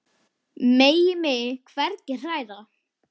Megi mig hvergi hræra.